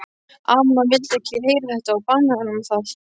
Amma vildi ekki heyra þetta og bannaði honum það.